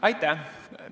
Aitäh!